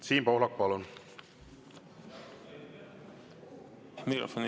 Siim Pohlak, palun!